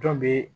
Dɔn be